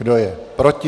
Kdo je proti?